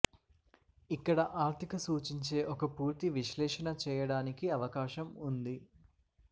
ఇక్కడ ఆర్థిక సూచించే ఒక పూర్తి విశ్లేషణ చేయడానికి అవకాశం ఉంది